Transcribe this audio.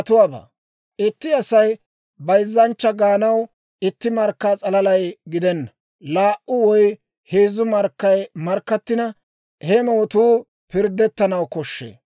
«Itti asaa bayzzanchcha gaanaw itti markka s'alalay gidenna. Laa"u woy heezzu markkay markkattina, he mootuu pirddettanaw koshshee.